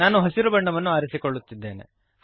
ನಾನು ಹಸಿರು ಬಣ್ಣವನ್ನು ಆರಿಸಿಕೊಳ್ಳುತ್ತಿದ್ದೇನೆ